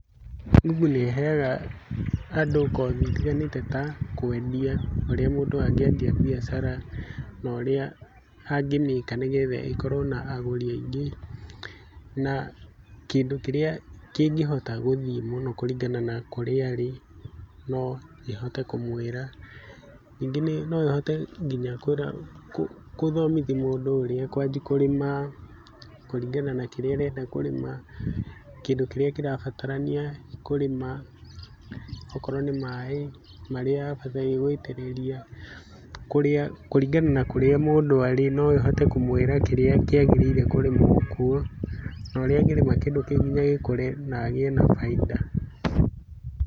Google nĩ ĩheaga andũ kothi itiganĩte ta kwendia, ũrĩa mũndũ angĩendia biacara na ũrĩa angĩmĩka nĩguo ĩkorwo na agũri aingĩ na kĩndũ kĩrĩa kĩngĩhota gũthiĩ mũno kũringana na kũrĩa arĩ no ĩhote kũmwĩra, ningĩ no ĩhote gũthomithia mũndũ ũrĩa akwanjia kũrĩma kũringana na kĩrĩa arenda kũrĩma, kĩndũ kĩrĩa kĩrabatarania kũrĩma, okorwo nĩ maĩ marĩa abataire gũitĩrĩria, kũringana na kũrĩa mũndũ arĩ no ĩhote kũmwĩra kĩrĩa kĩagĩrĩirwo kũrĩmwo kũo na ũrĩa angĩrĩma kĩndũ kĩu nginya gĩkũre na agĩe na baita.